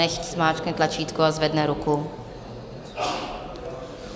Nechť zmáčkne tlačítko a zvedne ruku.